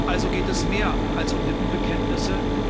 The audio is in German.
Also geht es um mehr als Lippenbekenntnisse.